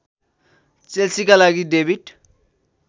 चेल्सीका लागि डेविड